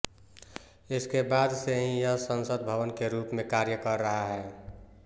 इसके बाद से ही यह संसद भवन के रूप में कार्य कर रहा है